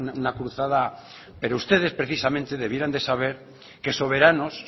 una cruzada pero ustedes precisamente debieran de saber que soberanos